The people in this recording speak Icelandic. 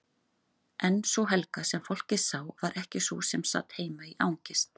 En sú Helga, sem fólkið sá, var ekki sú sem sat heima í angist.